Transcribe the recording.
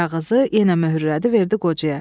Kağızı yenə möhürlədi, verdi qocaya.